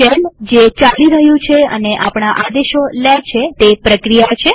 shell જે ચાલી રહ્યું છે અને આપણા આદેશો લે છે તે પ્રક્રિયા છે